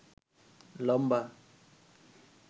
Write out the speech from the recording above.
লম্বা